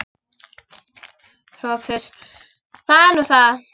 SOPHUS: Það er nú það.